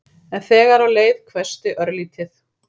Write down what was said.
En þegar á leið hvessti örlítið.